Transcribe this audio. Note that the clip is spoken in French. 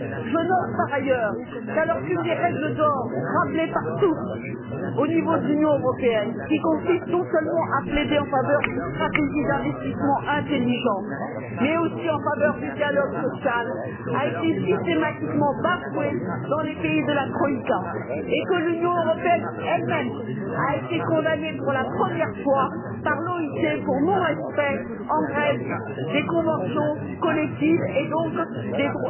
Je note par ailleurs qu'alors qu'une des règles d'or rappelée par tous au niveau de l'Union européenne, qui consiste non seulement à plaider en faveur d'une stratégie d'investissement intelligent, mais aussi en faveur du dialogue social, a été systématiquement bafouée dans les pays de la troïka et que l'Union européenne elle même a été condamnée pour la première fois par l'OIT pour non respect, en Grèce, des conventions collectives et donc des